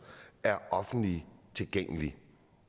er offentligt tilgængelige